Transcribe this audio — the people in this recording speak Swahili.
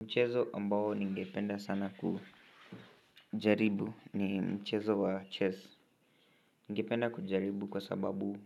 Mchezo ambao ni ngependa sana kujaribu ni mchezo wa chess ningependa kujaribu kwa sababu